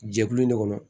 Jɛkulu in ne kɔnɔ